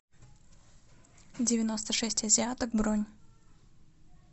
девяносто шесть азиаток бронь